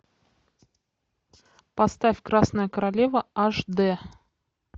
поставь красная королева аш д